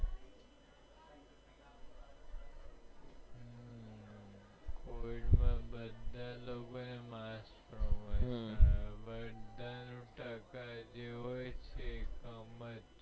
covid માં બધા લોગો એ બધા ના ટકા જે હોય છે